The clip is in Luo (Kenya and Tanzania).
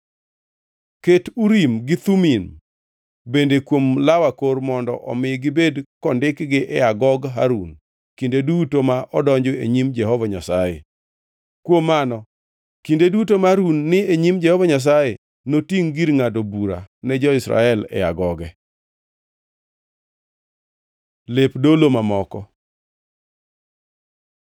Ket Urim gi Thumim bende kuom law akor mondo omi gibed kondikgi e agog Harun kinde duto ma odonjo e nyim Jehova Nyasaye. Kuom mano kinde duto ma Harun ni e nyim Jehova Nyasaye notingʼ gir ngʼado bura ne jo-Israel e agoge.” Lep dolo mamoko